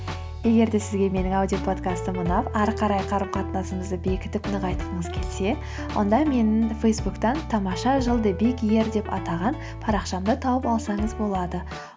егер де сізге менің аудиоподкастым ұнап ары қарай қарым қатынасымызды бекітіп нығайтқыңыз келсе онда менің фейсбуктан тамаша жыл деп атаған парақшамды тауып алсаңыз болады